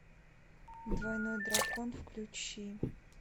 двойной дракон включи